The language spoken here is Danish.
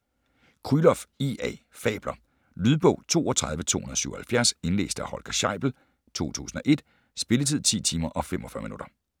Krylov, I. A.: Fabler Lydbog 32277 Indlæst af Holger Scheibel, 2001. Spilletid: 10 timer, 45 minutter.